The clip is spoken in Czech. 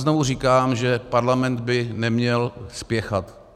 Znovu říkám, že Parlament by neměl spěchat.